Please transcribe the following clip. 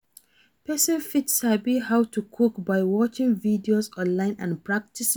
Persin fit sabi how to cook by watching videos online and practicing